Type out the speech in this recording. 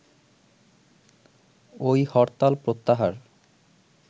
ঐ হরতাল প্রত্যাহার